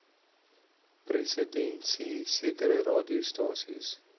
presidensie sekere radiostasies